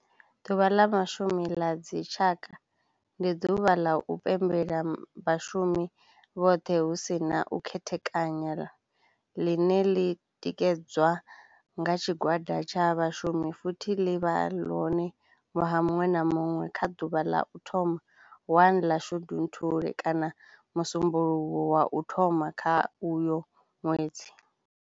Ḓuvha la Vhashumi la dzi tshaka, ndi duvha la u pembela vhashumi vhothe hu si na u khethekanya line li tikedzwa nga tshigwada tsha vhashumi futhi li vha hone nwaha munwe na munwe nga duvha la u thoma 1 la Shundunthule kana musumbulowo wa u thoma kha uyo nwedzi.